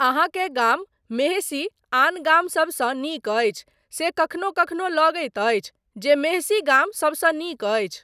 अहाँकेँ गाम मेहषी आन गाम सबसँ नीक अछि से कखनो कखनो लगैत अछि जे मेहषी गाम सबसँ नीक अछि।